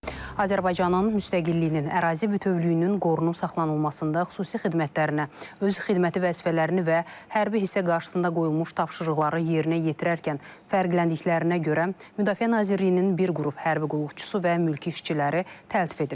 Azərbaycanın müstəqilliyinin, ərazi bütövlüyünün qorunub saxlanılmasında xüsusi xidmətlərinə, öz xidməti vəzifələrini və hərbi hissə qarşısında qoyulmuş tapşırıqları yerinə yetirərkən fərqləndiklərinə görə Müdafiə Nazirliyinin bir qrup hərbi qulluqçusu və mülki işçiləri təltif edilib.